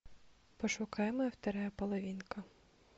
пошукай моя вторая половинка